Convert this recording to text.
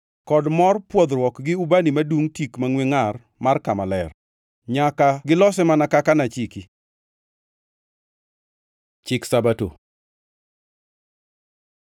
kod mor pwodhruok gi ubani madungʼ tik mangʼwe ngʼar mar Kama Ler. “Nyaka gilose mana kaka nachiki.” Chik Sabato